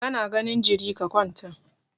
Ka na ganin jiri, ka kwanta!